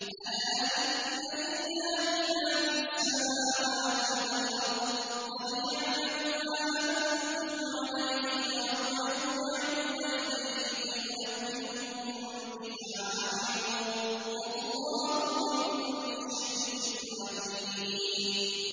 أَلَا إِنَّ لِلَّهِ مَا فِي السَّمَاوَاتِ وَالْأَرْضِ ۖ قَدْ يَعْلَمُ مَا أَنتُمْ عَلَيْهِ وَيَوْمَ يُرْجَعُونَ إِلَيْهِ فَيُنَبِّئُهُم بِمَا عَمِلُوا ۗ وَاللَّهُ بِكُلِّ شَيْءٍ عَلِيمٌ